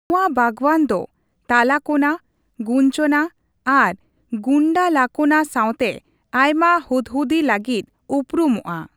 ᱱᱚᱣᱟ ᱵᱟᱜᱽᱣᱟᱱ ᱫᱚ ᱛᱟᱞᱟᱠᱳᱱᱟ, ᱜᱩᱧᱡᱚᱱᱟ ᱟᱨ ᱜᱩᱱᱰᱟᱞᱟᱠᱳᱱᱟ ᱥᱟᱶᱛᱮ ᱟᱭᱢᱟ ᱦᱩᱫᱦᱩᱫᱤ ᱞᱟᱹᱜᱤᱫ ᱩᱨᱩᱢᱚᱜᱼᱟ ᱾